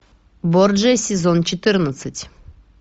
борджиа сезон четырнадцать